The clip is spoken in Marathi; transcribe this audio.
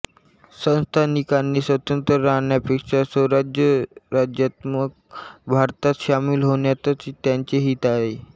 संस्थानिकांनी स्वतंत्र राहण्यापेक्षा संघराज्यात्मक भारतात सामील होण्यातच त्यांचे हित आहे